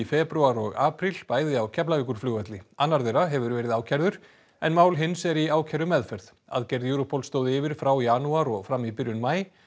febrúar og apríl bæði á Keflavíkurflugvelli annar þeirra hefur verið ákærður en mál hins er í ákærumeðferð aðgerð Europol stóð yfir frá janúar og fram í byrjun maí